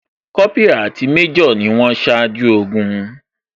Kópírà àti major ni wón ṣáájú ogun